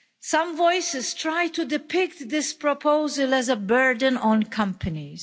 Some voices try to depict this proposal as a burden on companies.